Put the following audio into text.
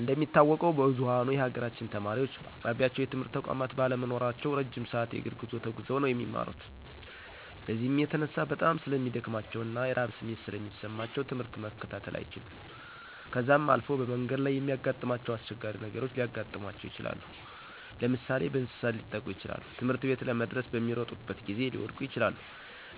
እንደሚታወቀው ብዝኋኑ የሀገራችን ተማሪወች በአቅራቢያቸው የትምህርት ተቋማት ባለመኖራቸው እረጅም ሰዐት የእግር ጉዞ ተጉዘው ነው የሚማሩት። በዚህም የተነሳ በጣም ስለሚደክማቸው እና የረሀብ ስሜት ስለሚሰማቸው ትምህርት መከታተል አይችሉም .ከዛም አልፎ በመንገድ ላይ የሚያጋጥማቸው አስቸጋሪ ነገሮች ሊያጋጥማቸው ይችላል። ለምሳሌ፦ በእንሰሳት ሊጠቁ ይችላሉ, ትምህርትቤት ለመድረስ በሚሮጡበት ጊዜ ሊወድቁ ይችላሉ።